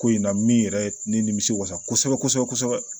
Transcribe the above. Ko in na min yɛrɛ ne nimisi wasa kosɛbɛ kosɛbɛ kosɛbɛ